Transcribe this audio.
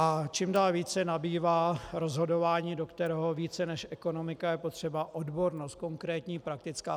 A čím dál více nabývá rozhodování, do kterého více než ekonomika je potřeba odbornost, konkrétní, praktická.